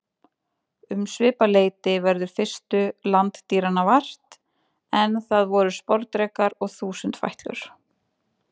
Um svipað leyti verður fyrstu landdýranna vart, en það voru sporðdrekar og þúsundfætlur.